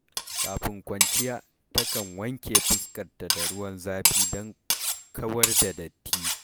Kafin kwanciya, takan wanke fuskarta da ruwan zafi don kawar da datti.